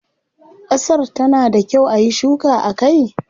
Kasar ta na da kyau ayi shuka a kai?